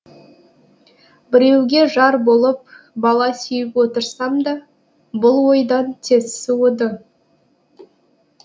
біреуге жар болып бала сүйіп отырсам да бұл ойдан тез суыды